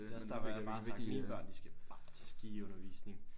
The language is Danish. Der også derfor jeg bare er sådan mine børn de skal bare til skiundervisning